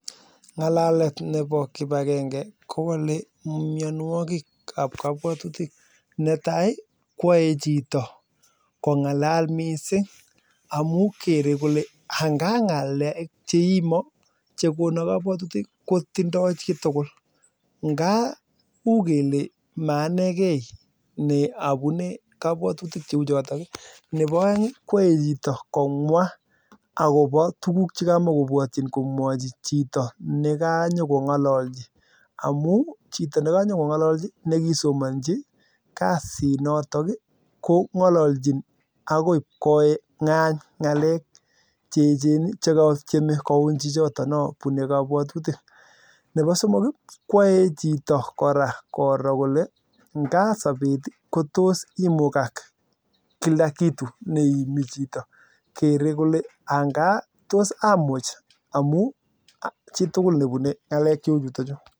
Ngalalet nebo kibakenge kowole mionwokikab kobwotutik netai koyoe chito kongalal misig amun kere kolee ang'a ngalek cheimo chekonon kowotutik ko tindo chitukul ng'a uu kelee maanekei neabune kobwotutik cheuchoton, nebo oeng koyoe chito komwa akobo tukuk chekamakobote komwochin chito nekanyo kongololchi amun chito nekonyoko ngololchi nekisomonchi kasinoton ko ngololchin akoi kongany ngalek che echen chekotieme kouny chichoton non bune kobwotutik, nebo somok koyoe chito kora koro kolee ng'a sobet kotos imukak kila kitu neimi chito kere kolee ng'a tos amuch amun chitukul nebune ngalek cheu chuto chuu.